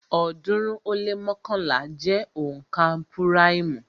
ọ̀ọ́dúnrún ó lé mọ́kànlá jẹ́ onka púráìmù